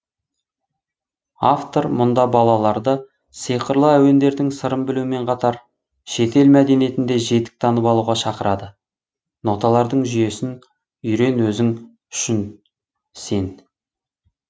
автор мұнда балаларды сиқырлы әуендердің сырын білумен қатар шетел мәдениетін де жетік танып алуға шақырады ноталардың жүйесін үйрен өзің үшін сен